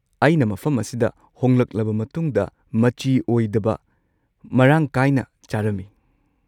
ꯑꯩꯅ ꯃꯐꯝ ꯑꯁꯤꯗ ꯍꯣꯡꯂꯛꯂꯕ ꯃꯇꯨꯡꯗ ꯃꯆꯤ ꯑꯣꯏꯗꯕ ꯃꯔꯥꯡ ꯀꯥꯏꯅ ꯆꯥꯔꯝꯃꯤ꯫